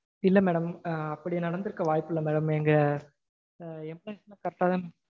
இல்ல madam. அப்படி நடந்திருக்க வாய்ப்பில்ல madam. எங்க correct டாதா